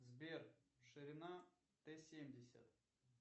сбер ширина т семьдесят